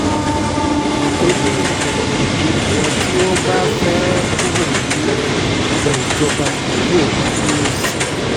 ó ní ilé yìí ni àwọn tí wọ́n bá fẹ́ẹ́ kúrò níléejọba yóò máa dúró sí